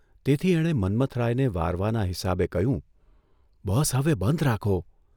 તેથી એણે મન્મથરાયને વારવાના હિસાબે કહ્યું, ' બસ હવે બંધ રાખો.